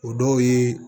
O dɔw ye